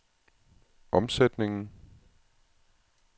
omsætningen